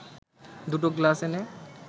দুটো গ্লাস এনে